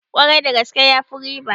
Kwarai da gaske, yafi riba